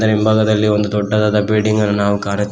ಹಿಂಭಾಗದಲ್ಲಿ ಒಂದು ದೊಡ್ಡದಾದ ಬಿಲ್ಡಿಂಗ್ ಅನ್ನು ನಾವು ಕಾಣುತ್ತೇವೆ.